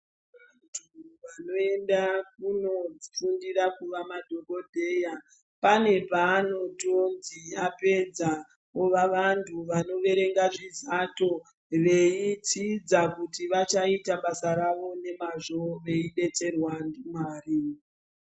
Vantu vanoenda kofundira kuva madhokodheya pane panoziva apedza ova vanhu vanoverenga nezato veidzidza kuti vachaita basa rawo nemazvo veidetserwa ndimwari.